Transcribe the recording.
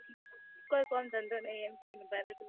કોઈ કામ ધંધો નહિ એમ કહી ને ઉભા રે તો